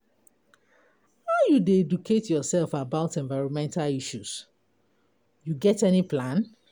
How you dey educate yourself about environmental issues, you get any plan?